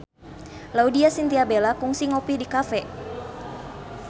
Laudya Chintya Bella kungsi ngopi di cafe